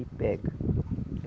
E pega.